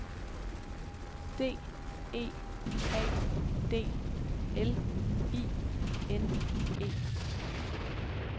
D E A D L I N E